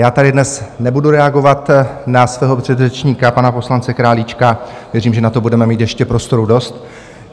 Já tady dnes nebudu reagovat na svého předřečníka, pana poslance Králíčka, věřím, že na to budeme mít ještě prostoru dost.